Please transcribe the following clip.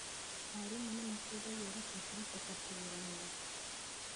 Arimũ nĩmateithagĩa aruto kũhĩtũka kĩgeranio